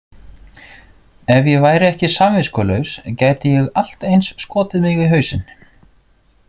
Ef ég væri ekki samviskulaus gæti ég allt eins skotið mig í hausinn.